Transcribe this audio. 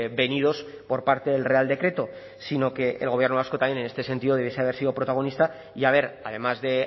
venidos por parte del real decreto sino que el gobierno vasco también en este sentido debiese de haber sido protagonista y haber además de